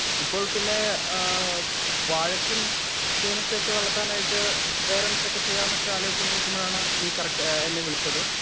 Speaker 1 ഇപ്പോൾ പിന്നെ ആ വഴക്കും ചേനക്കൊക്കെ വളത്താനായിട്ട് വേറൊന്തൊക്ക ചെയ്യാനൊക്കെയാലോചിച്ചു കൊണ്ടിരിക്കുമ്പോഴാണ് നീ കറക്ട് എന്നെ വിളിച്ചത്.